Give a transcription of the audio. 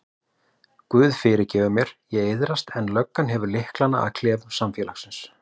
Guð fyrirgefur mér, ég iðrast en löggan hefur lyklana að klefum samfélagsins.